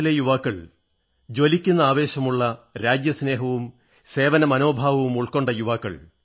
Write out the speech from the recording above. രാജ്യത്തിലെ യുവാക്കൾ ജ്വലിക്കുന്ന ആവേശമുള്ള രാജ്യസ്നേഹവും സേവനമനോഭാവമുൾക്കൊണ്ട് യുവാക്കൾ